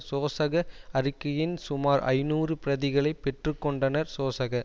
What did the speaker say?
சோசக அறிக்கையின் சுமார் ஐநூறு பிரதிகளை பெற்று கொண்டனர் சோசக